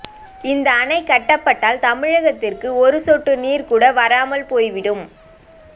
இந்த அணை கட்டப்பட்டால் தமிழகத்திற்கு ஒரு சொட்டு நீர் கூட வராமல் போய்விடும்